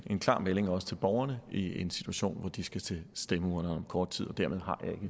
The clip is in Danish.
klar melding også til borgerne i en situation hvor de skal til stemmeurnerne om kort tid dermed